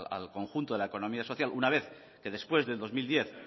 al conjunto de la economía social una vez que después del dos mil diez